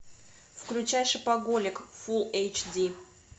включай шопоголик фулл эйч ди